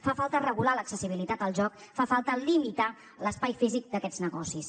fa falta regular l’accessibilitat al joc fa falta limitar l’espai físic d’aquests negocis